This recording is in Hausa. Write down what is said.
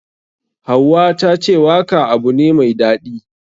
Hauwa tace waka abu ne mai daɗi.